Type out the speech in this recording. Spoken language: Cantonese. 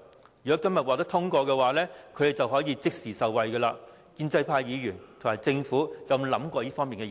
如《條例草案》今天獲得通過，地產代理就可以即時受惠，建制派議員和政府有沒有考慮過這